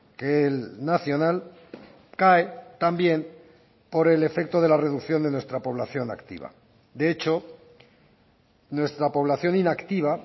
que el nacional cae también por el efecto de la reducción de nuestra población activa de hecho nuestra población inactiva